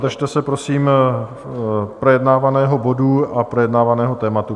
Držte se prosím projednávaného bodu a projednávaného tématu.